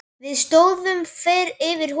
Við stóðum yfir honum.